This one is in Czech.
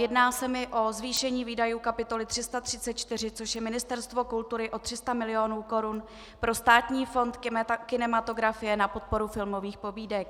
Jedná se mi o zvýšení výdajů kapitoly 334, což je Ministerstvo kultury, o 300 milionů korun pro Státní fond kinematografie na podporu filmových pobídek.